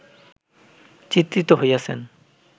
চিত্রিত হইয়াছেন